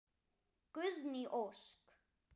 Guðný Ósk.